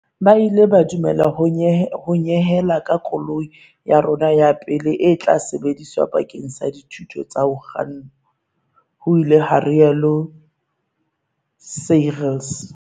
"Ba ile ba du mela ho nyehela ka koloi ya rona ya pele e tla sebediswa bakeng sa dithuto tsa ho kganna," ho ile ha rialo Seirlis.